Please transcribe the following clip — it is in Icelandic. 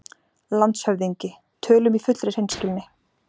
LANDSHÖFÐINGI: Tölum í fullri hreinskilni